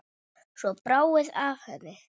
Svo bráði af henni.